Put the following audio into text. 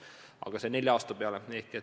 Aga see on nelja aasta peale.